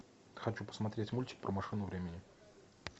хочу посмотреть мультик про машину времени